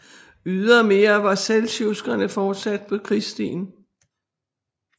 Ydermere var seldsjukkerne fortsat på krigsstien